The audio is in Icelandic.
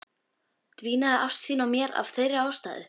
Dvínaði ást þín á mér af þeirri ástæðu?